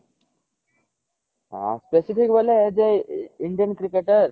ହଁ specific ବୋଇଲେ ଯେ ଇଣ୍ଡିଆନ କ୍ରିକେଟର